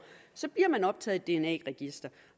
bliver man optaget dna register